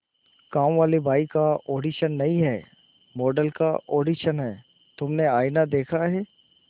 कामवाली बाई का ऑडिशन नहीं है मॉडल का ऑडिशन है तुमने आईना देखा है